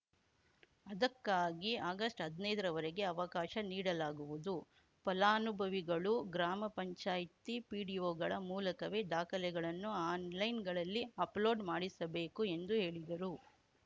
ಅದಕ್ಕಾಗಿ ಅಗಸ್ಟ್ಹದ್ನೈದರವರೆಗೆ ಅವಕಾಶ ನೀಡಲಾಗುವುದು ಫಲಾನುಭವಿಗಳು ಗ್ರಾಮಪಂಚಾಯ್ತಿ ಪಿಡಿಒಗಳ ಮೂಲಕವೇ ದಾಖಲೆಗಳನ್ನು ಆನ್‌ಲೈನ್‌ಗಳಲ್ಲಿ ಅಪ್‌ಲೋಡ್‌ ಮಾಡಿಸಬೇಕು ಎಂದು ಹೇಳಿದರು